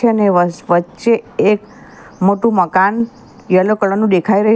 વચ્ચે એક મોટું મકાન યલો કલર નું દેખાઈ રહ્યું--